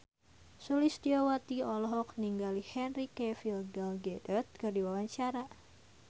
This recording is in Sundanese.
Sulistyowati olohok ningali Henry Cavill Gal Gadot keur diwawancara